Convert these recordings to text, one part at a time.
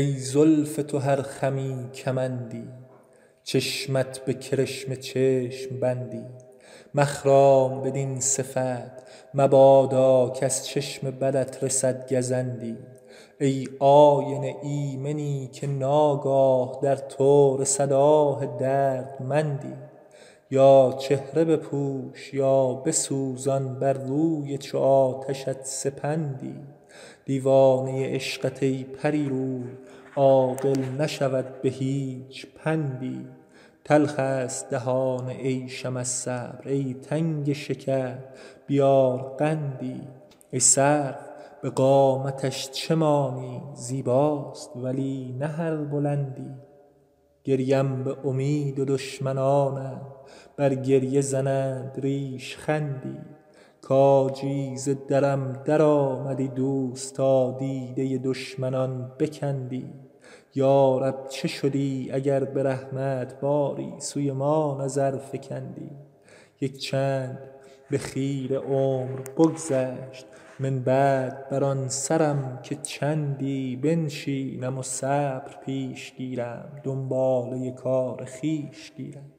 ای زلف تو هر خمی کمندی چشمت به کرشمه چشم بندی مخرام بدین صفت مبادا کز چشم بدت رسد گزندی ای آینه ایمنی که ناگاه در تو رسد آه دردمندی یا چهره بپوش یا بسوزان بر روی چو آتشت سپندی دیوانه عشقت ای پری روی عاقل نشود به هیچ پندی تلخ ست دهان عیشم از صبر ای تنگ شکر بیار قندی ای سرو به قامتش چه مانی زیباست ولی نه هر بلندی گریم به امید و دشمنانم بر گریه زنند ریشخندی کاجی ز درم درآمدی دوست تا دیده دشمنان بکندی یا رب چه شدی اگر به رحمت باری سوی ما نظر فکندی یک چند به خیره عمر بگذشت من بعد بر آن سرم که چندی بنشینم و صبر پیش گیرم دنباله کار خویش گیرم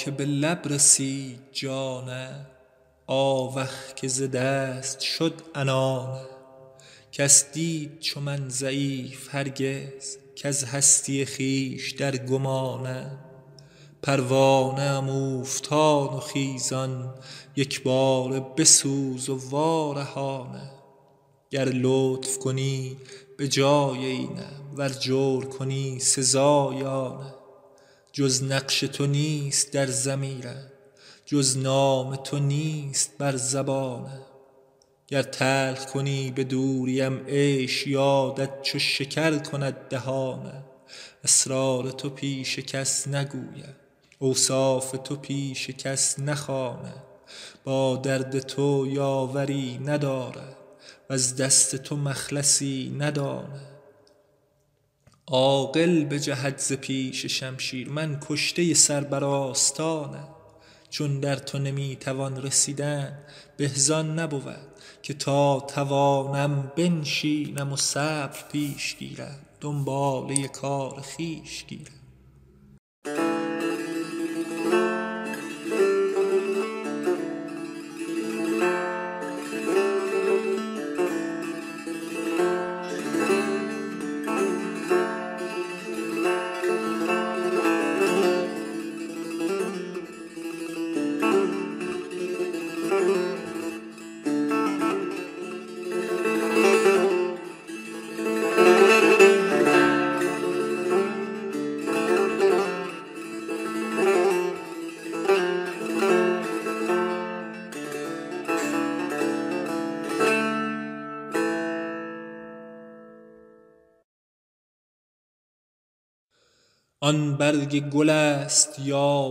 آیا که به لب رسید جانم آوخ که ز دست شد عنانم کس دید چو من ضعیف هرگز کز هستی خویش در گمانم پروانه ام اوفتان و خیزان یک باره بسوز و وارهانم گر لطف کنی به جای اینم ور جور کنی سزای آنم جز نقش تو نیست در ضمیرم جز نام تو نیست بر زبانم گر تلخ کنی به دوریم عیش یادت چو شکر کند دهانم اسرار تو پیش کس نگویم اوصاف تو پیش کس نخوانم با درد تو یاوری ندارم وز دست تو مخلصی ندانم عاقل بجهد ز پیش شمشیر من کشته سر بر آستانم چون در تو نمی توان رسیدن به زآن نبود که تا توانم بنشینم و صبر پیش گیرم دنباله کار خویش گیرم آن برگ گل ست یا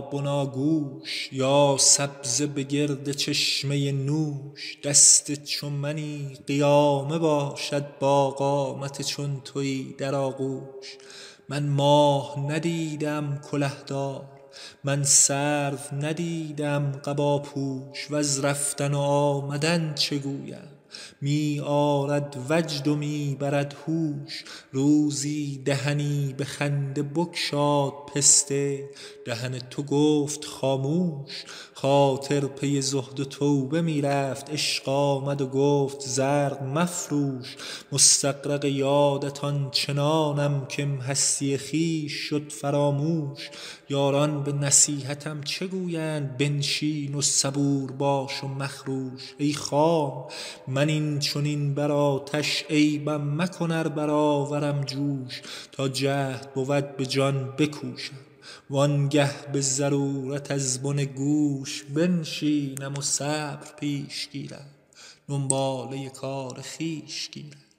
بناگوش یا سبزه به گرد چشمه نوش دست چو منی قیامه باشد با قامت چون تویی در آغوش من ماه ندیده ام کله دار من سرو ندیده ام قباپوش وز رفتن و آمدن چه گویم می آرد وجد و می برد هوش روزی دهنی به خنده بگشاد پسته دهن تو گفت خاموش خاطر پی زهد و توبه می رفت عشق آمد و گفت زرق مفروش مستغرق یادت آن چنانم کم هستی خویش شد فراموش یاران به نصیحتم چه گویند بنشین و صبور باش و مخروش ای خام من این چنین بر آتش عیبم مکن ار برآورم جوش تا جهد بود به جان بکوشم وآن گه به ضرورت از بن گوش بنشینم و صبر پیش گیرم دنباله کار خویش گیرم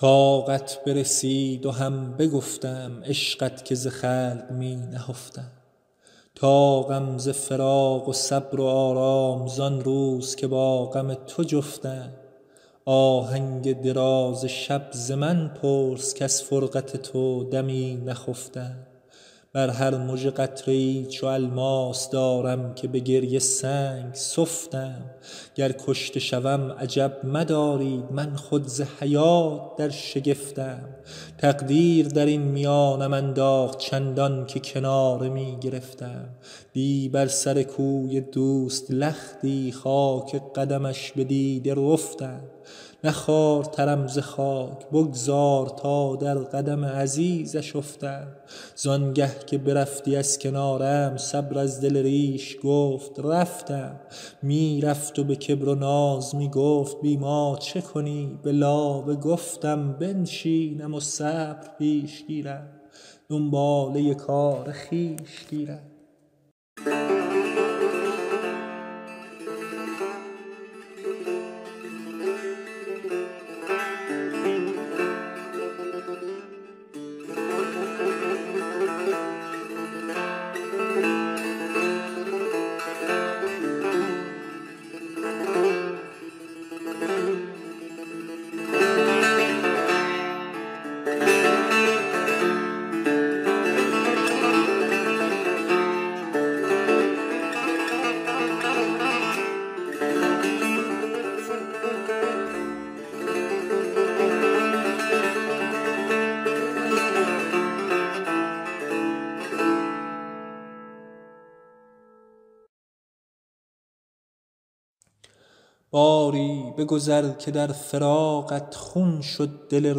طاقت برسید و هم بگفتم عشقت که ز خلق می نهفتم طاقم ز فراق و صبر و آرام زآن روز که با غم تو جفتم آهنگ دراز شب ز من پرس کز فرقت تو دمی نخفتم بر هر مژه قطره ای چو الماس دارم که به گریه سنگ سفتم گر کشته شوم عجب مدارید من خود ز حیات در شگفتم تقدیر درین میانم انداخت چندان که کناره می گرفتم دی بر سر کوی دوست لختی خاک قدمش به دیده رفتم نه خوارترم ز خاک بگذار تا در قدم عزیزش افتم زآن گه که برفتی از کنارم صبر از دل ریش گفت رفتم می رفت و به کبر و ناز می گفت بی ما چه کنی به لابه گفتم بنشینم و صبر پیش گیرم دنباله کار خویش گیرم باری بگذر که در فراقت خون شد دل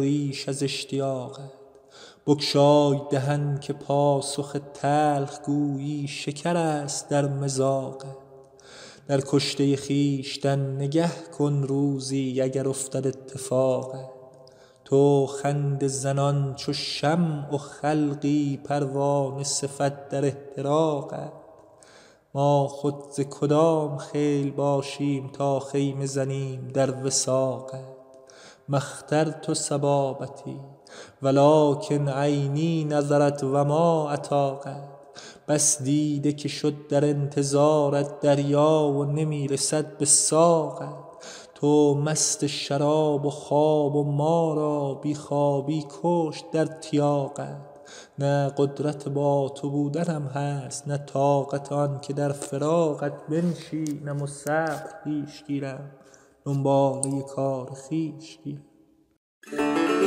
ریش از اشتیاقت بگشای دهن که پاسخ تلخ گویی شکرست در مذاقت در کشته خویشتن نگه کن روزی اگر افتد اتفاقت تو خنده زنان چو شمع و خلقی پروانه صفت در احتراقت ما خود ز کدام خیل باشیم تا خیمه زنیم در وثاقت ما اخترت صبابتی ولکن عینی نظرت و ما اطاقت بس دیده که شد در انتظارت دریا و نمی رسد به ساقت تو مست شراب و خواب و ما را بی خوابی بکشت در تیاقت نه قدرت با تو بودنم هست نه طاقت آن که در فراقت بنشینم و صبر پیش گیرم دنباله کار خویش گیرم آوخ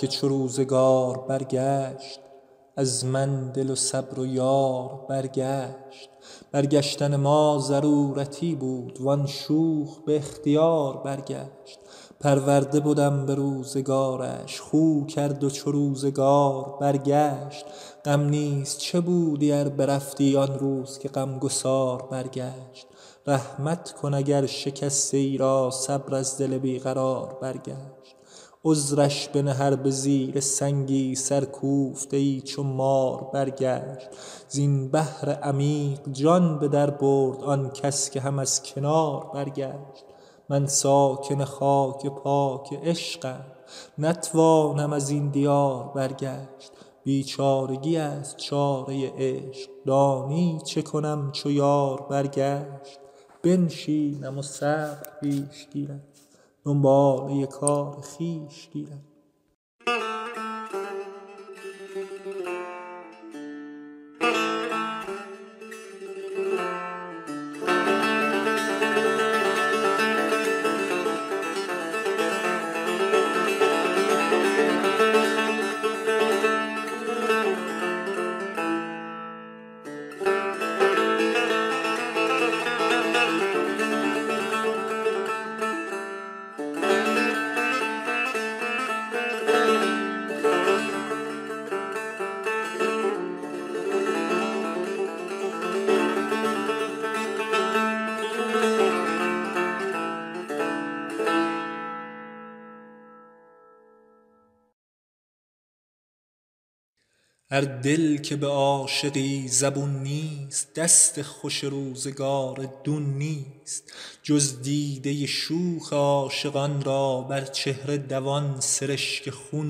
که چو روزگار برگشت از من دل و صبر و یار برگشت برگشتن ما ضرورتی بود وآن شوخ به اختیار برگشت پرورده بدم به روزگارش خو کرد و چو روزگار برگشت غم نیز چه بودی ار برفتی آن روز که غم گسار برگشت رحمت کن اگر شکسته ای را صبر از دل بی قرار برگشت عذرش بنه ار به زیر سنگی سرکوفته ای چو مار برگشت زین بحر عمیق جان به در برد آن کس که هم از کنار برگشت من ساکن خاک پاک عشقم نتوانم ازین دیار برگشت بیچارگی ست چاره عشق دانی چه کنم چو یار برگشت بنشینم و صبر پیش گیرم دنباله کار خویش گیرم هر دل که به عاشقی زبون نیست دست خوش روزگار دون نیست جز دیده شوخ عاشقان را بر چهره دوان سرشک خون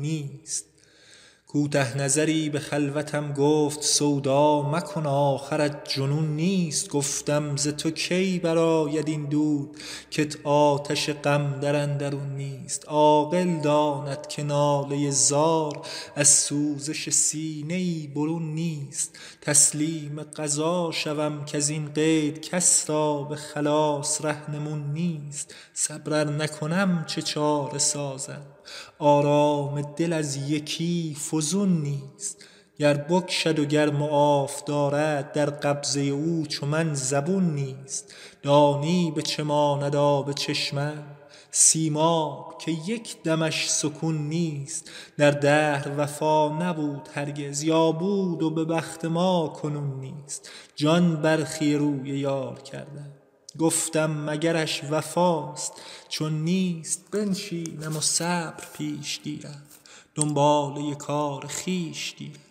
نیست کوته نظری به خلوتم گفت سودا مکن آخرت جنون نیست گفتم ز تو کی برآید این دود کت آتش غم در اندرون نیست عاقل داند که ناله زار از سوزش سینه ای برون نیست تسلیم قضا شود کزین قید کس را به خلاص رهنمون نیست صبر ار نکنم چه چاره سازم آرام دل از یکی فزون نیست گر بکشد و گر معاف دارد در قبضه او چو من زبون نیست دانی به چه ماند آب چشمم سیماب که یک دمش سکون نیست در دهر وفا نبود هرگز یا بود و به بخت ما کنون نیست جان برخی روی یار کردم گفتم مگرش وفاست چون نیست بنشینم و صبر پیش گیرم دنباله کار خویش گیرم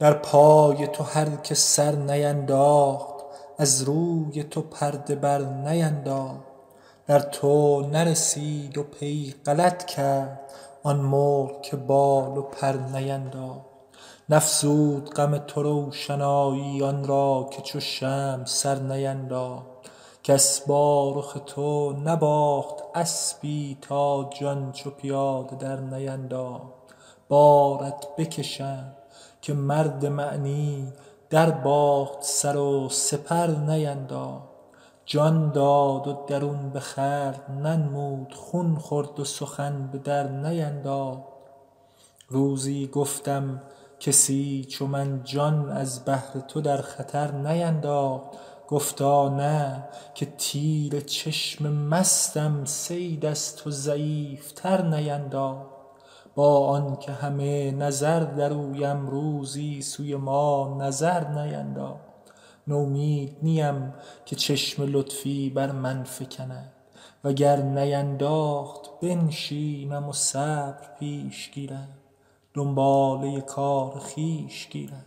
در پای تو هر که سر نینداخت از روی تو پرده بر نینداخت در تو نرسید و پی غلط کرد آن مرغ که بال و پر نینداخت کس با رخ تو نباخت اسبی تا جان چو پیاده در نینداخت نفزود غم تو روشنایی آن را که چو شمع سر نینداخت بارت بکشم که مرد معنی در باخت سر و سپر نینداخت جان داد و درون به خلق ننمود خون خورد و سخن به در نینداخت روزی گفتم کسی چو من جان از بهر تو در خطر نینداخت گفتا نه که تیر چشم مستم صید از تو ضعیف تر نینداخت با آن که همه نظر در اویم روزی سوی ما نظر نینداخت نومید نیم که چشم لطفی بر من فکند وگر نینداخت بنشینم و صبر پیش گیرم دنباله کار خویش گیرم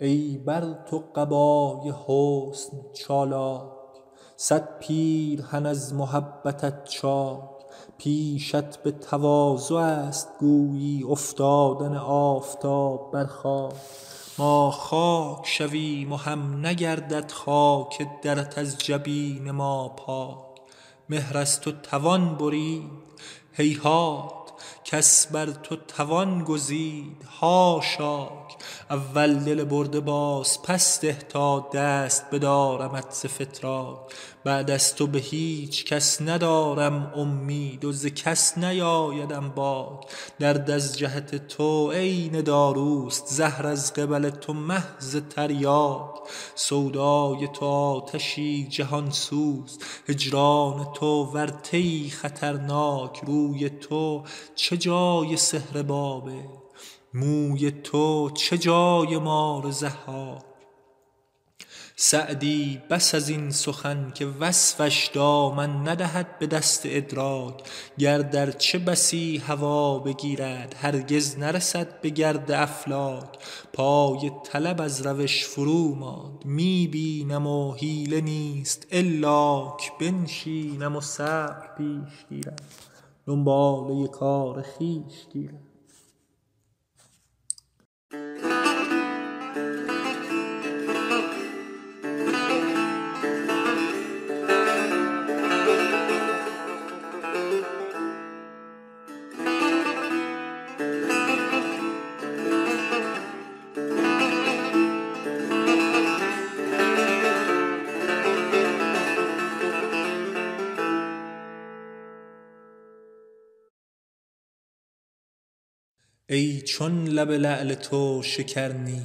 ای بر تو قبای حسن چالاک صد پیرهن از محبتت چاک پیشت به تواضع ست گویی افتادن آفتاب بر خاک ما خاک شویم و هم نگردد خاک درت از جبین ما پاک مهر از تو توان برید هیهات کس بر تو توان گزید حاشاک اول دل برده باز پس ده تا دست بدارمت ز فتراک بعد از تو به هیچ کس ندارم امید و ز کس نیآیدم باک درد از جهت تو عین داروست زهر از قبل تو محض تریاک سودای تو آتشی جهان سوز هجران تو ورطه ای خطرناک روی تو چه جای سحر بابل موی تو چه جای مار ضحاک سعدی بس ازین سخن که وصفش دامن ندهد به دست ادراک گرد ارچه بسی هوا بگیرد هرگز نرسد به گرد افلاک پای طلب از روش فرو ماند می بینم و حیله نیست الاک بنشینم و صبر پیش گیرم دنباله کار خویش گیرم ای چون لب لعل تو شکر نی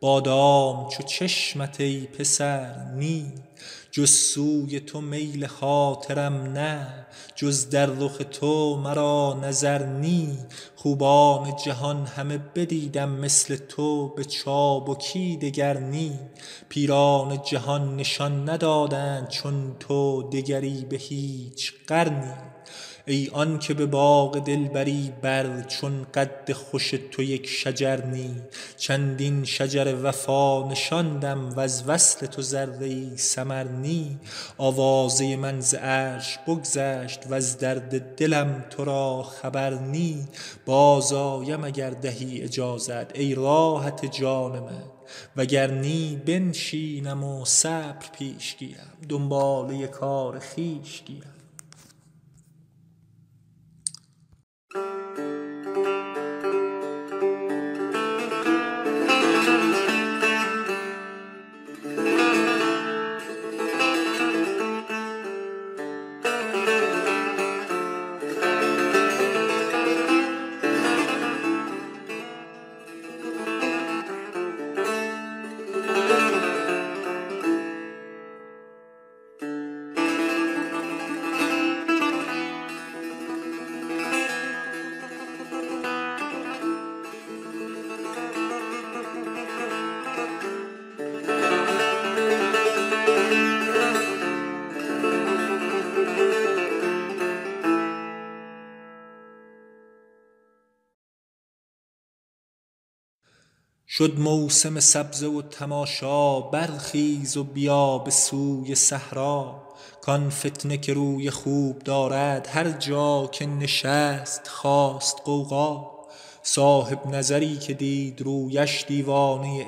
بادام چو چشمت ای پسر نی جز سوی تو میل خاطرم نه جز در رخ تو مرا نظر نی خوبان جهان همه بدیدم مثل تو به چابکی دگر نی پیران جهان نشان ندادند چون تو دگری به هیچ قرنی ای آن که به باغ دلبری بر چون قد خوش تو یک شجر نی چندین شجر وفا نشاندم وز وصل تو ذره ای ثمر نی آوازه من ز عرش بگذشت وز درد دلم تو را خبر نی از رفتن من غمت نباشد از آمدن تو خود اثر نی باز آیم اگر دهی اجازت ای راحت جان من وگر نی بنشینم و صبر پیش گیرم دنباله کار خویش گیرم شد موسم سبزه و تماشا برخیز و بیا به سوی صحرا کآن فتنه که روی خوب دارد هر جا که نشست خاست غوغا صاحب نظری که دید رویش دیوانه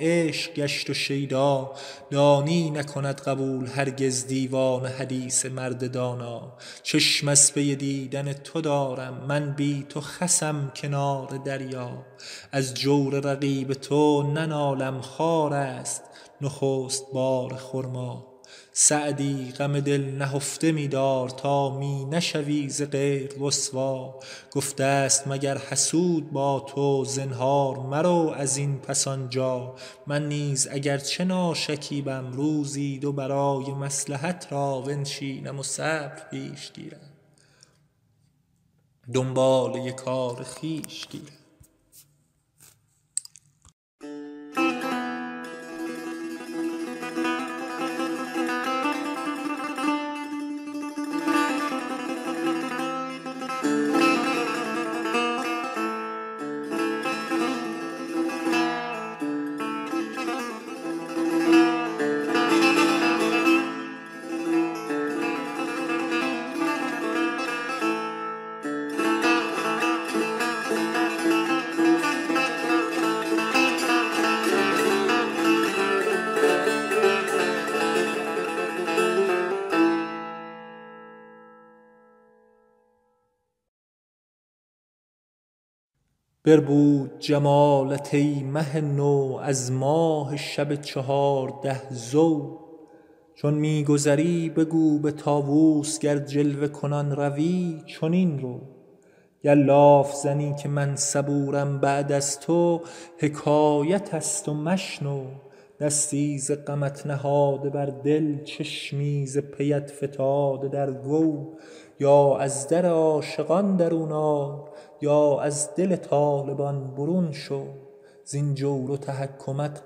عشق گشت و شیدا دانی نکند قبول هرگز دیوانه حدیث مرد دانا چشم از پی دیدن تو دارم من بی تو خسم کنار دریا از جور رقیب تو ننالم خارست نخست بار خرما سعدی غم دل نهفته می دار تا می نشوی ز غیر رسوا گفته ست مگر حسود با تو زنهار مرو ازین پس آنجا من نیز اگر چه ناشکیبم روزی دو برای مصلحت را بنشینم و صبر پیش گیرم دنباله کار خویش گیرم بربود جمالت ای مه نو از ماه شب چهارده ضو چون می گذری بگو به طاوس گر جلوه کنان روی چنین رو گر لاف زنم که من صبورم بعد از تو حکایت ست و مشنو دستی ز غمت نهاده بر دل چشمی ز پیت فتاده در گو یا از در عاشقان درون آی یا از دل طالبان برون شو زین جور و تحکمت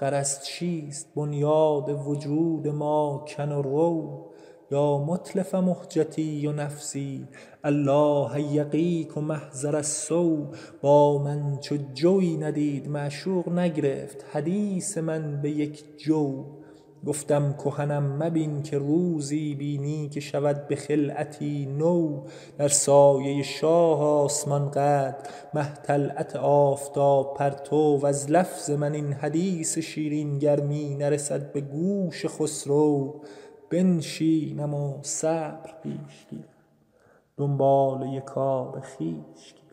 غرض چیست بنیاد وجود ما کن و رو یا متلف مهجتی و نفسی الله یقیک محضر السو با من چو جویی ندید معشوق نگرفت حدیث من به یک جو گفتم کهنم مبین که روزی بینی که شود به خلعتی نو در سایه شاه آسمان قدر مه طلعت آفتاب پرتو وز لفظ من این حدیث شیرین گر می نرسد به گوش خسرو بنشینم و صبر پیش گیرم دنباله کار خویش گیرم